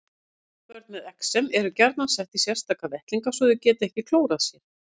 Ungbörn með exem eru gjarnan sett í sérstaka vettlinga svo þau geti ekki klórað sér.